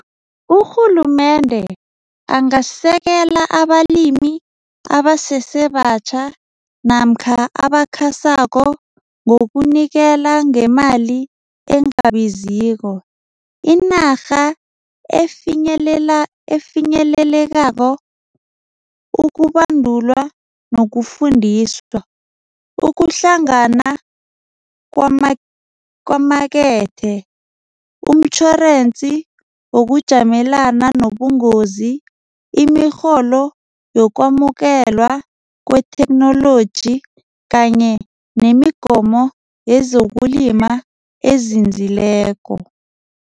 Urhulumende angasekela abalimi abasesebatjha namkha abakhasako ngokunikela ngemali engabiziko. Inarha efinyelela efinyelelako ukubandulwa nokufundiswa ukuhlangana kwamakethe, umtjhorensi wokujamelana nobungozi, imirholo yokwamukela kwetheknoloji kanye nemigomo yezokulima ezinzileko.